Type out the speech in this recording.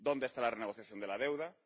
¿Dónde está la renegociación de la deuda?